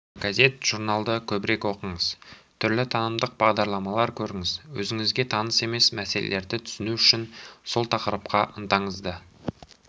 газет-журналды көбірек оқыңыз түрлі танымдық бағдарламалар көріңіз өзіңізге таныс емес мәселелерді түсіну үшін сол тақырыпқа ынтаңызды